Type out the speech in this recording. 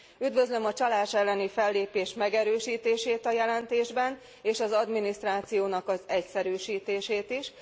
Üdvözlöm a csalás elleni fellépés megerősítését a jelentésben, és az adminisztrációnak az egyszerűsítését is.